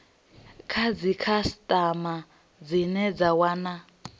kha dzikhasitama dzine dza wana